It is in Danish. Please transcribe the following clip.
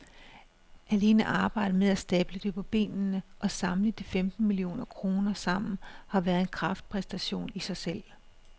Alene arbejdet med at stable det på benene og samle de femten millioner kroner sammen har været en kraftpræstation i sig selv.